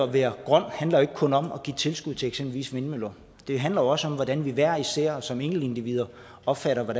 være grøn handler jo ikke kun om at give tilskud til eksempelvis vindmøller det handler også om hvordan vi hver især som enkeltindivider opfatter og